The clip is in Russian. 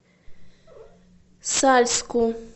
сальску